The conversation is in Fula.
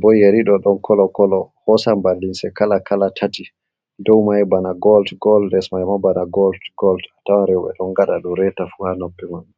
bo. Yeriɗo ɗon kolo kolo hosan ba limse kala kala tati dow may bana gol gol les mai ma bana gol gol. Atawan rewɓe ɗon ngaɗa ɗum reta fu ha noppi maɓɓe.